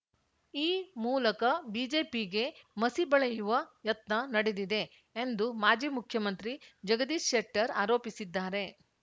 ಈ ಮೂಲಕ ಬಿಜೆಪಿಗೆ ಮಸಿ ಬಳಿಯುವ ಯತ್ನ ನಡೆದಿದೆ ಎಂದು ಮಾಜಿ ಮುಖ್ಯಮಂತ್ರಿ ಜಗದೀಶ್ ಶೆಟ್ಟರ್‌ ಆರೋಪಿಸಿದ್ದಾರೆ